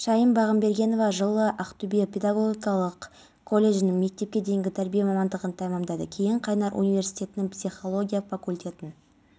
таңертең республиканың солтүстік-батысының кей жерлерінде тұман күтіледі павлодар шығыс қазақстан облыстарының кей жерлерінде бұршақ жаууы мүмкін